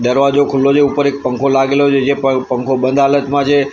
દરવાજો ખુલ્લો જે ઉપર એક પંખો લાગેલો છે જે પ પંખો બંધ હાલત માં જે.